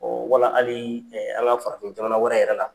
Wala hali an ka farafin jamana wɛrɛ yɛrɛ la.